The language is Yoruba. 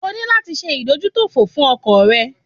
O ní láti ṣe ìdójútòfò fún ọkọ̀ rẹ.